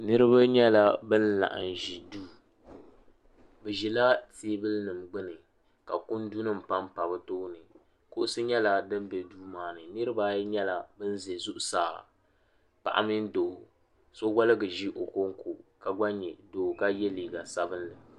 niriba n-nyɛla ban laɣim ʒi duu bɛ ʒila teebuli nima gbunni ka kundu nima pa n-pa bɛ tooni kuɣisi nyɛla din be duu maa ni niriba ayi nyɛla bɛ ʒe zuɣusaa paɣa mini doo so waligi ʒi o kuŋko ka gba nyɛ doo ka ye liiga sabinli.